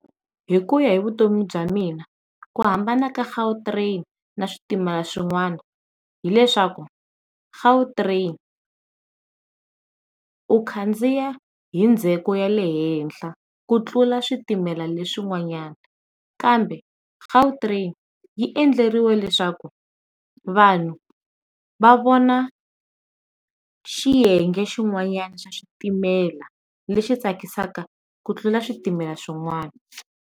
Hi ku ya hi vutomi bya mina ku hambana ka Gautrain na switimela swin'wana hileswaku Gautrain, u khandziya hi ndzheko ya le henhla ku tlula switimela leswi n'wanyana. Kambe Gautrain yi endleriwe leswaku vanhu va vona xiyenge xin'wana xa xitimela lexi tsakisaka ku tlula switimela swin'wana.